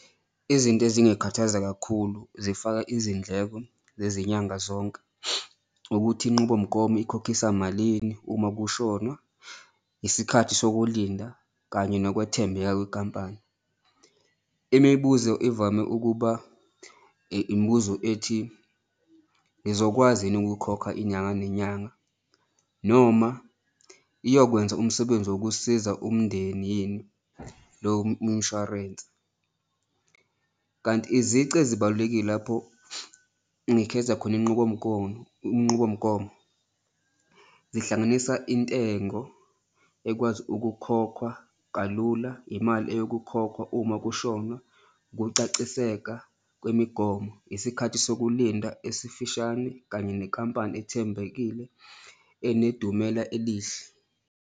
Izinto ezingakhathaza kakhulu zifaka izindleko zezinyanga zonke ukuthi inqubomgomo ikhokhisa malini uma kushonwa, isikhathi sokulinda kanye nokwethembeka kwenkampani, imibuzo ivame ukuba imibuzo ethi. Ngizokwazini ukukhokha inyanga nenyanga? Noma iyokwenza umsebenzi wokusiza umndeni yini lo umshwarense? Kanti izici ezibalulekile lapho ngikhetha khona inqubomgonyo inqubomgomo zihlanganisa intengo ekwazi ukukhokhwa kalula, imali eyokukhokhwa uma kushonwa, ukucaciseka kwemigomo, isikhathi sokulinda esifishane kanye nenkampani ethembekile enedumela elihle.